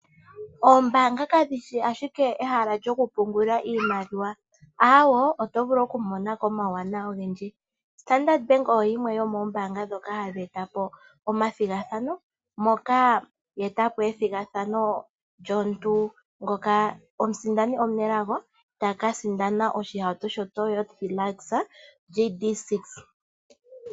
Oombaanga kadhi shi ashike ehala lyoku pungulilako iimaliwa, awoo, oto vulu oku mona ko omawuwanawa ogendji. Ombaanga yoStandard oyo yimwe yomoombanga dhoka hadhi eta po omathigathano moka ya eta po ethigathano lyomuntu ngoka omusindani omunelago ta ka sindanda oshihauto sho Toyota Hilux GD6.